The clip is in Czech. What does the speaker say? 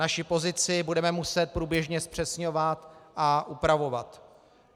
Naši pozici budeme muset průběžně zpřesňovat a upravovat.